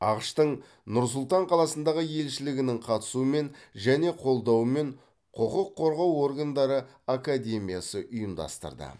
ақш тың нұр сұлтан қаласындағы елшілігінің қатысуымен және қолдауымен құқық қорғау органдары академиясы ұйымдастырды